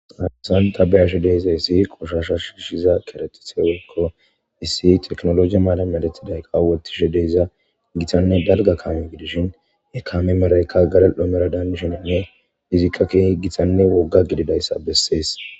safesan tabayashe deyiza issi qoshasha shiishiza keretithewekko issi teknoloiya maalameletiday qa wotishe deyza gitanne balga kaame gidishin e kaame marayka garal'oomera daandishininne izikka keeh gitanne wogga gididayssa bessees.